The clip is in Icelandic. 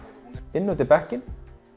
inn undir bekkinn